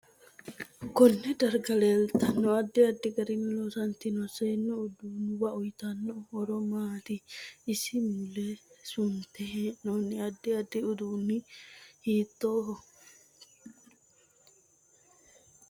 Konne darga leeltanno addi addi garinni loosantino seesu udduunuwa uyiitanno horo maati isi mule sunte heenooni addi addi uduuni hiitooho